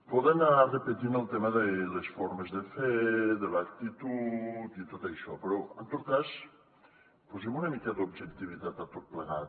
poden anar repetint el tema de les formes de fer de l’actitud i tot això però en tot cas posem una mica d’objectivitat a tot plegat